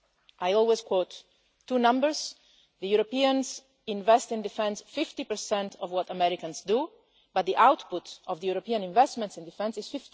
I always quote two numbers Europeans invest in defence 50 of what Americans do, but the output of European investments in defence